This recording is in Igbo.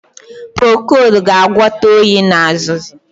Procold ga-agwọta oyi na azụzụ